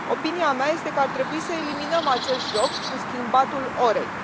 Opinia mea este că ar trebui să eliminăm acest joc cu schimbatul orei.